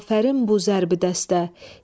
Afərin bu zərbü dəstə.